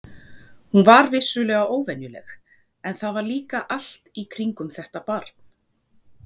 Hún var vissulega óvenjuleg, en það var líka allt í kringum þetta barn.